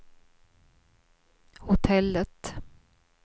hotellet